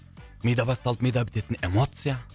мида басталып мида бітетін эмоция